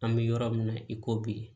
An bɛ yɔrɔ min na i ko bi